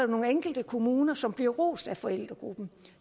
nogle enkelte kommuner som bliver rost af forældregruppen